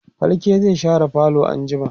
falke zai share falo anjima